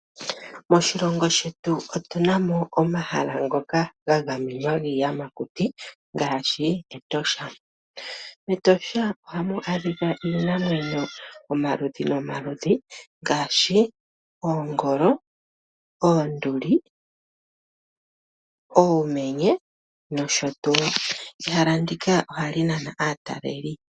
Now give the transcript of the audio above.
Moshilongo shetu otunamo omahala ngoka gagamwenwa giiyamakuti ngaashi, Etosha. Etosha ohamu adhika iinamwenyo omaludhi nomaludhi ngaashi, oongolo, oonduli, uumenye nosho tu. Ehala ndika ohali nana aataleli.